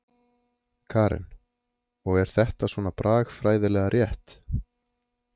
Karen: Og er þetta svona bragfræðilega rétt?